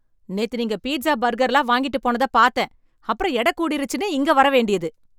நேத்து நீங்க பீட்ஸா, பர்கர்லாம் வாங்கிட்டுப் போனத பாத்தேன், அப்புறம் எடக் கூடிருச்சுன்னு இங்க வர வேண்டியது.